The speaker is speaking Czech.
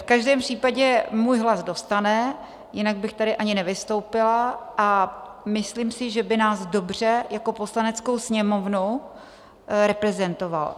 V každém případě můj hlas dostane, jinak bych tady ani nevystoupila, a myslím si, že by nás dobře jako Poslaneckou sněmovnu reprezentoval.